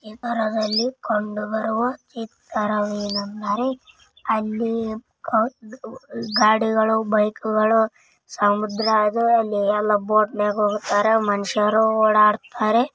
ಈ ಕರಾವಳಿ ಕೊಂಡುಬರುವ ಚಿತ್ತ ಅಲ್ಲಿ ಗಾಡಿಗಳು ಬೈಕ್ ಗಳು ಸಮುದ್ರ ಅದೆ ಅಲ್ಲಿ ಎಲ್ಲಾ ಬೋಟ್ನಲ್ಲಿ ಹೋಗತ್ತರಾ ಮನುಷ್ಯರು ಓಡಾಡುತ್ತಾರೆ.